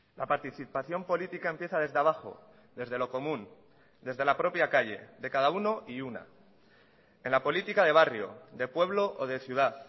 la participación política empieza desde abajo desde lo común desde la propia calle de cada uno y una en la política de barrio de pueblo o de ciudad